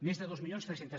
més de dos mil tres cents